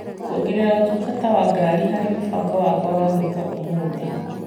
Kuongerera ũtungata wa ngari harĩ mũbango wakwa wa gwĩka ũmũthĩ .